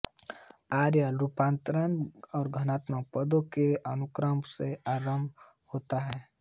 Euler रूपांतर धनात्मक पदों के अनुक्रम से आरम्भ होता है